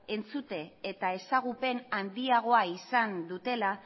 entzute eta ezagupen handiagoa izan dutela